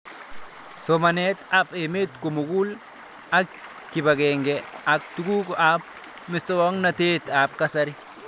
Somanet ab emet komugul ak kipag'eng'e ak tuguk ab muswognatet ab kasari